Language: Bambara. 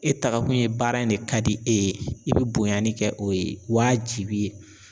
E takakun ye baara in de ka di e ye i bi bonyani kɛ o ye waajibi ye.